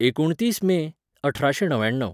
एकुणतीस मे अठराशें णव्याण्णव